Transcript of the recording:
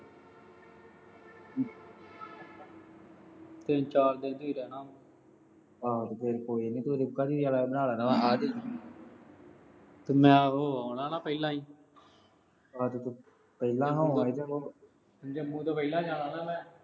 ਤਿੰਨ ਚਾਰ ਦਿਨ ਹੀ ਰਹਿਣਾ। ਆਹੋ ਤੇ ਫਿਰ ਕੋਈ ਨੀ ਤੇ ਮੈਂ ਉਹੋ ਆਉਣਾ ਨਾ ਅਹ ਪਹਿਲਾਂ ਈ। ਪਹਿਲਾਂ ਹੋ ਆਉਣਾ। ਜੰਮੂ ਤਾਂ ਪਹਿਲਾਂ ਜਾਣਾ ਨਾ ਅਹ ਮੈਂ।